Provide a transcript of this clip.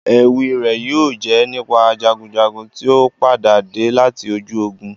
Éwi rẹ yóò jẹ nípa jagunjagun tio padade lati ojú ogun.